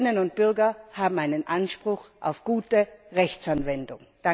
Bürgerinnen und Bürger haben einen Anspruch auf gute Rechtsanwendung.